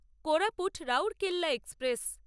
Koraput Rourkela express